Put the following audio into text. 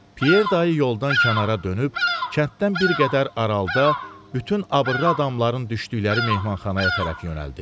Pyer dayı yoldan kənara dönüb, kənddən bir qədər aralıda bütün abrılı adamların düşdükləri mehmanxanaya tərəf yönəldi.